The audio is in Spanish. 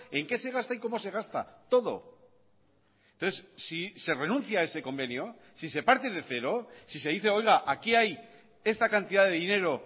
en qué se gasta y cómo se gasta todo entonces si se renuncia a ese convenio si se parte de cero si se dice oiga aquí hay esta cantidad de dinero